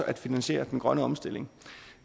at finansiere den grønne omstilling